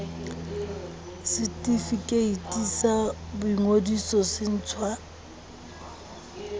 setefikeiti sa boingodiso se ntshwa